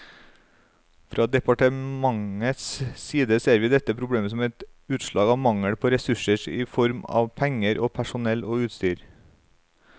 Fra departementets side ser vi dette problemet som et utslag av mangel på ressurser i form av penger, personell og utstyr.